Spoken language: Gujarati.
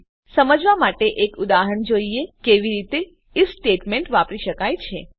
હવે ચાલો સમજવા માટે એક ઉદાહરણ જોઈએ કે કેવી રીતે ઇફ સ્ટેટમેંટને વાપરી શકાય છે